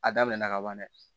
A daminɛna ka ban dɛ